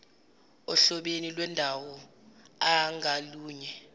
ohlobeni lwendawoi ngalunye